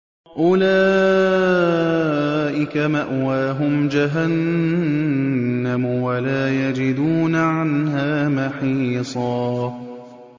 أُولَٰئِكَ مَأْوَاهُمْ جَهَنَّمُ وَلَا يَجِدُونَ عَنْهَا مَحِيصًا